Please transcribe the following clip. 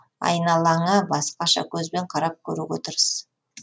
айналаңа басқаша көзбен қарап көруге тырыс